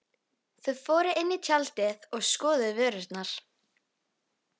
Þau fóru inn í tjaldið og skoðuðu vörurnar.